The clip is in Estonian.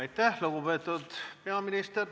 Aitäh, lugupeetud peaminister!